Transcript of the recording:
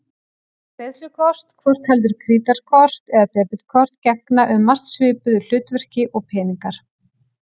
Greiðslukort, hvort heldur krítarkort eða debetkort, gegna um margt svipuðu hlutverki og peningar.